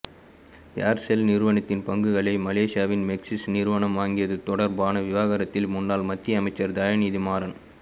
Aircel நிறுவனத்தின் பங்குகளை மலேசியாவின் மேக்சிஸ் நிறுவனம் வாங்கியது தொடர்பான விவகாரத்தில் முன்னாள் மத்திய அமைச்சர் தயாநிதி மாறன்